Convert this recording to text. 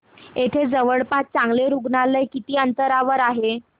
इथे जवळपास चांगलं रुग्णालय किती अंतरावर आहे